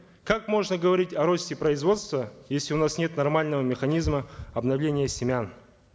как можно говорить о росте производства если у нас гнет нормального механизма обновления семян